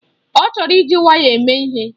Ọ chọrọ iji waya eme ihe.